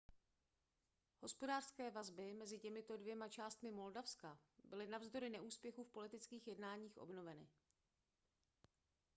hospodářské vazby mezi těmito dvěma částmi moldavska byly navzdory neúspěchu v politických jednáních obnoveny